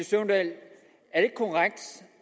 søvndal